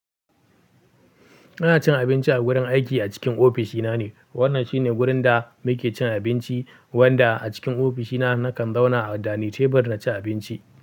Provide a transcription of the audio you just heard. Ina cin abinci a gurin aiki a cikin ofishina ne. Wannan shine wurin da muke cin abinci, wanda a cikin ofishina nakan zauna a dani tebur na ci abinci.